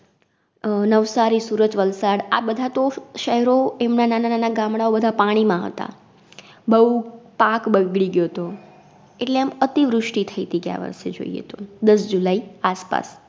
અ નવસારી, સુરત, વલસાડ, આ બધા તો ફ શેહરો એમના નાના નાના ગામડાઓ બધા પાણી માં હતા. બઉ પાક બગડી ગ્યોતો, એટલે આમ અતિવૃષ્ટિ થઈતી ગ્યાંવરસે જોઇએ તો, દસ July આસપાસ